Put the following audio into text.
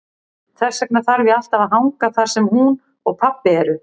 Þess vegna þarf ég alltaf að hanga þar sem hún og pabbi eru.